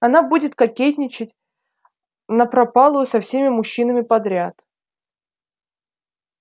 она будет кокетничать напропалую со всеми мужчинами подряд